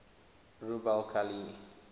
rub al khali